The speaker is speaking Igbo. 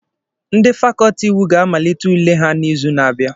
Ndị fàkọọtị iwu ga-amalite ule ha n'izu na-abịa